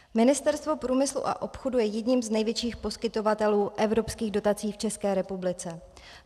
Ministerstvo průmyslu a obchodu je jedním z největších poskytovatelů evropských dotací v České republice.